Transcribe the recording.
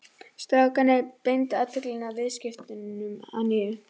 Strákarnir beindu athyglinni að viðskiptunum að nýju.